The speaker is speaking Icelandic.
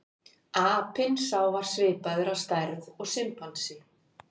Apinn sá var svipaður að stærð og simpansi.